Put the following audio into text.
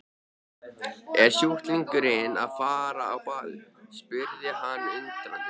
Er sjúklingurinn að fara á ball? spurði hann undrandi.